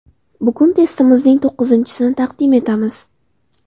Bugun testimizning to‘qqizinchisini taqdim etamiz.